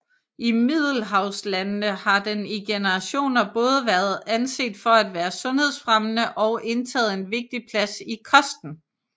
I Middelhavslandene har den i generationer både været anset for at være sundhedsfremmende og indtaget en vigtig plads i kosten